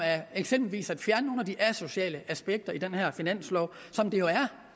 eksempelvis at fjerne nogle af de asociale aspekter i den her finanslov som det jo